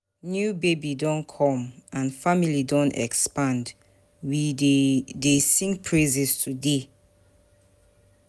New baby don come, and family don expand, we dey dey sing praises today.